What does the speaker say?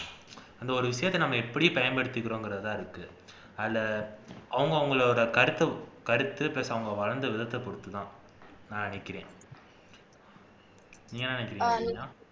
அந்த ஒரு விஷயத்தை எப்படி பயன்படுத்திக்கிறோம்ங்கிறதுலதான் இருக்கு அதுல அவுங்கவுங்களோட கருத்தை கருத்து plus அவுங்க வளர்ந்த விதத்தை பொறுத்துதான் நான் நினைக்கிறேன் நீங்க என்ன நினைக்கிறீங்க பூஜா